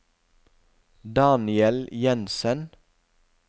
Daniel Jenssen